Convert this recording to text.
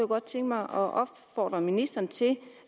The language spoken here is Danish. godt tænke mig at opfordre ministeren til